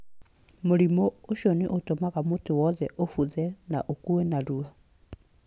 Mũrimũ ũcio nĩ ũtũmaga mũtĩ wothe ũbuthe na ũkue narua